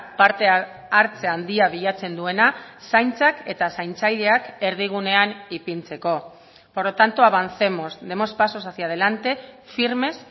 parte hartze handia bilatzen duena zaintzak eta zaintzaileak erdigunean ipintzeko por lo tanto avancemos demos pasos hacia adelante firmes